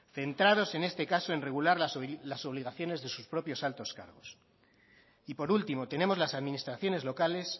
centrados en este caso en regular las obligaciones de sus propios altos cargos y por último tenemos las administraciones locales